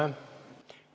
Aitäh!